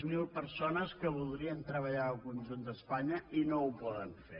zero persones que voldrien treballar al conjunt d’espanya i no ho poden fer